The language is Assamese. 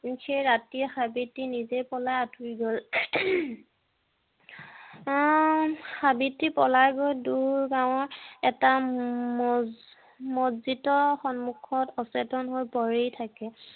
ৰাতি সাৱিত্ৰীয়ে নিজে পলাই আঁতৰি গ'ল হম সাৱিত্ৰী পলাই গৈ দূৰ গাঁৱত এটা মছজিদৰ সন্মোকত অচেতন হৈ পৰি থাকে